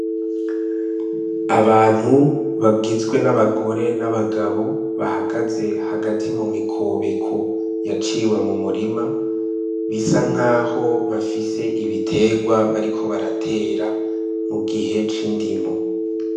Abantu bagizwe n'abagore n'abagabo bahagaze hagati mumikobeko yaciwe mu mirima bisa nkaho bafise ibiterwa bariko baratera mu gihe c'indimo.